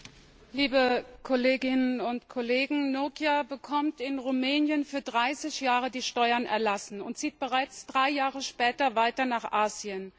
Frau Präsidentin, liebe Kolleginnen und Kollegen! Nokia bekommt in Rumänien für dreißig Jahre die Steuern erlassen und zieht bereits drei Jahre später weiter nach Asien.